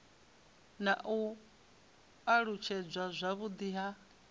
na u alutshedzwa zwavhudi ha